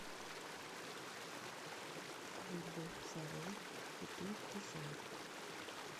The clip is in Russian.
рыбу форель киту и семгу